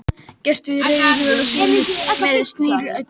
Gert við reiðhjólaslöngu með snertilími.